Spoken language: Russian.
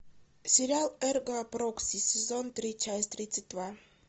сериал эрго прокси сезон три часть тридцать два